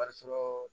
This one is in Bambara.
Bari sɔrɔ